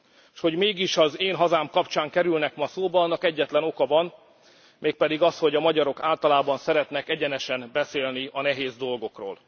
S hogy mégis az én hazám kapcsán kerülnek ma szóba, annak egyetlen oka van, mégpedig az, hogy a magyarok általában szeretnek egyenesen beszélni a nehéz dolgokról.